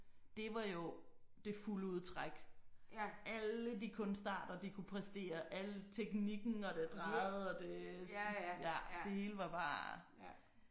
Det var jo det fulde udtræk. Alle de kunstarter de kunne præstere al teknikken og det drejede og det ja det hele var bare